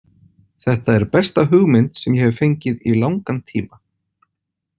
Þetta er besta hugmynd sem ég hef fengið í langan tíma.